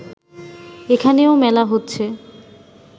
এখানেও মেলা হচ্ছে